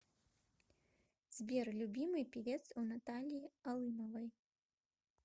сбер любимый певец у натальи алымовой